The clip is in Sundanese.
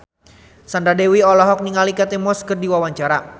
Sandra Dewi olohok ningali Kate Moss keur diwawancara